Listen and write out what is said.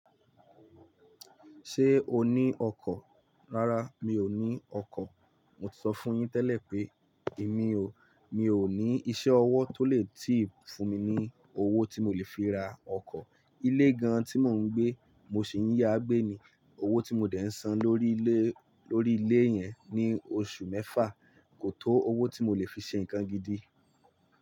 Ṣé o ní ọkọ̀? Rárá, mi ò ní ọkọ̀. Mo ti sọ fún yín tẹ́lẹ̀ pé èmi o, mi ò ní iṣẹ́ ọwọ́ tó lè tì fún mi ní owó tí mo lè fi ra ọkọ̀. Ilé gan-an tí mò ń gbé, mo sì ń yágbé ni. Owó tí mo dè ń san lórí ilé, lórí ilé yẹn ní oṣù mẹ́fà kò tó owó tí mo lè fi ṣe nǹkan gidi.